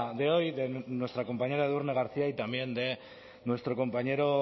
de hoy de nuestra compañera edurne garcía y también de nuestro compañero